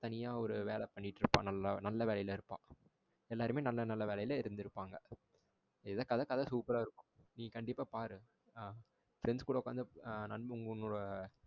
தனியா ஒரு வேலை பண்ணிக்கிட்டு இருப்பா. நல்ல வேலையில இருப்பா. எல்லோருமே நல்ல நல்ல வேலையில இருந்து இருப்பாங்க. இதன் கதை கதை சூப்பரா இருக்கும். நீ கண்டிப்பா பாரு ஆ friends கூட உட்கார்ந்து நண்பாங்க உன்னோட